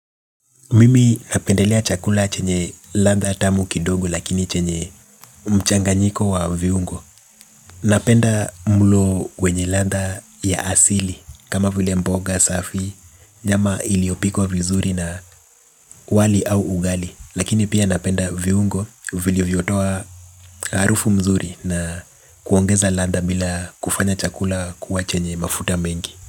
Mimi napendelea chakula chenye landha tamu kidogo lakini chenye mchanganyiko wa viungo. Napenda mulo wenye landha ya asili kama vile mboga safi. Nyama iliopikwa vizuri na wali au ugali. Lakini pia napenda viungo vilivyotoa harufu mzuri na kuongeza landha bila kufanya chakula kuwa chenye mafuta mengi.